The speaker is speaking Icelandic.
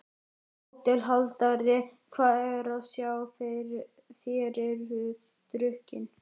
HÓTELHALDARI: Hvað er að sjá: þér eruð drukkin?